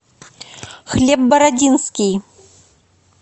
хлеб бородинский